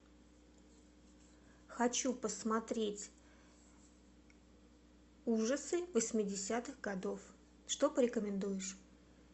хочу посмотреть ужасы восьмидесятых годов что порекомендуешь